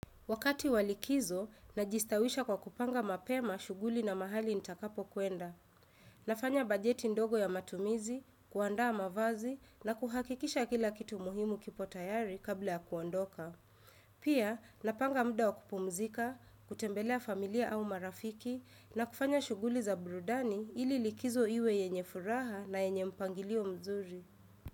Wakati wa likizo, ninajistawisha kwa kupanga mapema shughuli na mahali nitakapokwenda. Ninafanya bajeti ndogo ya matumizi, kuandaa mavazi na kuhakikisha kila kitu muhimu kipo tayari kabla ya kuondoka. Pia, ninapanga muda wa kupumzika, kutembelea familia au marafiki na kufanya shughuli za brudani ili likizo iwe yenye furaha na yenye mpangilio mzuri.